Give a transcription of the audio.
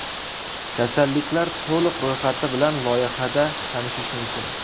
Kasalliklar to‘liq ro‘yxati bilan loyiha da tanishish mumkin.